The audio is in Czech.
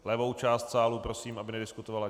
Levou část sálu prosím, aby nediskutovala.